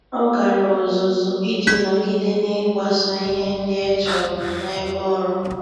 Ọ́ gàrà ọ́zụ́zụ́ iji nọ́gídé n’ị́gbàsò ihe ndị e chọ́rọ́ n’ebe ọ́rụ́.